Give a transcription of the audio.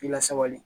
K'i lasabali